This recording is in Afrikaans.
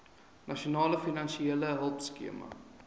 nasionale finansiële hulpskema